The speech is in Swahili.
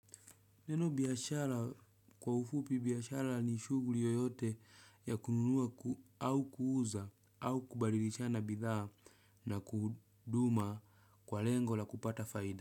Neno biashara kwa ufupi biashara ni shugli yoyote ya kununua au kuuza au kubadilishana bidhaa na kuhuduma kwa lengo la kupata faida.